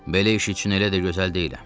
Belə iş üçün elə də gözəl deyiləm.